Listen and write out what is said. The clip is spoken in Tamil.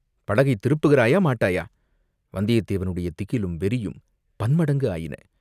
படகைத் திருப்புகிறாயா, மாட்டாயா?" வந்தியத்தேவனுடைய திகிலும், வெறியும் பன்மடங்கு ஆயின.